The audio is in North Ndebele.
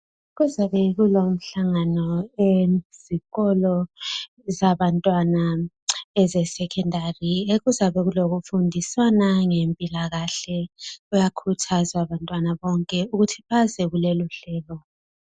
Kuzabe kulomhlangano ezikolo zabantwana eze"secondary" kuzabe kulo kufundisana ngempilakahke bayakhuthazwa abantwana bonke ukuthi baze kulelo hlelo.